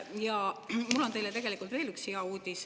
Ja mul on teile veel üks hea uudis.